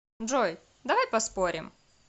джой давай поспорим